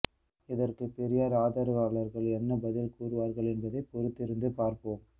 இதற்கு பெரியார் ஆதரவாளர்கள் என்ன பதில் கூறுவார்கள் என்பதை பொறுத்திருந்து பார்ப்போம்